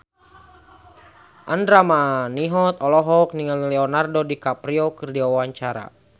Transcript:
Andra Manihot olohok ningali Leonardo DiCaprio keur diwawancara